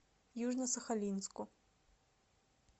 южно сахалинску